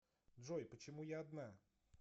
джой почему я одна